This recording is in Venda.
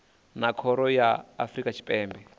na khoro ya afrika tshipembe